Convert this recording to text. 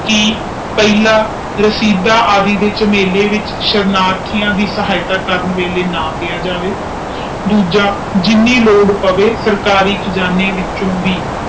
ਕਿ ਪਹਿਲਾ ਰਸੀਦ ਆਵਹਿ ਦੇ ਚਮੇਲੀ ਚ ਸਰਧਠਿਆਂ ਦੇ ਸਾਹਿਤ ਕਰਨ ਲਾਇ ਨਾਮ ਲਿਆ ਜਾਵੇ ਦੁੱਜਾ ਜਿਨ੍ਹਾਂ ਲਾਰਡ ਪਾਵੇ ਸਰਕਾਰੀ ਖਜਾਨੇ ਚੋ ਹੀ